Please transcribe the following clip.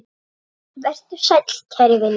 Vertu sæll kæri vinur.